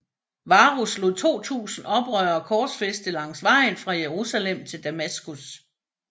Varus lod 2000 oprørere korsfæste langs vejen fra Jerusalem til Damaskus